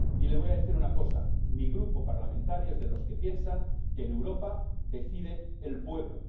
Y le voy a decir una cosa mi Grupo parlamentario es de los que piensa que en Europa decide el pueblo.